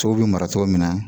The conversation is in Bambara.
Tow bɛ mara cogo min na